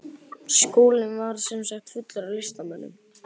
Skólinn var sem sagt fullur af listamönnum.